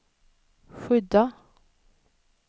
skydda